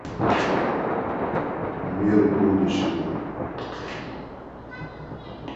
мир будущего